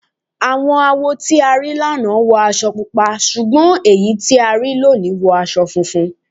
Àwọn awo tí a rí lánàá wọ aṣọ Pupa ṣùgbọ́n àwọn èyí tí a rí lónìí wọ aṣọ funfun.